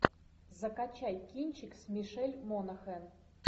закачай кинчик с мишель монахэн